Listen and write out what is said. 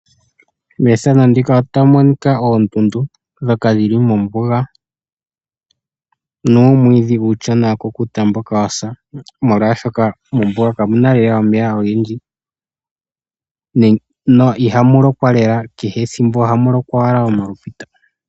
Methano ndika otamu monika oondundu ndhoka dhili mombuga, nuumwidhi uushona wa kukuta mboka wa sa molwashoka mombuga kamu na lela omeya ogendji na ihamu lokwa lela kehe ethimbo ohamu lokwa owala omapita.